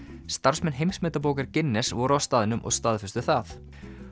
starfsmenn Heimsmetabókar Guinness voru á staðnum og staðfestu það